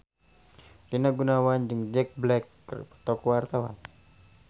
Rina Gunawan jeung Jack Black keur dipoto ku wartawan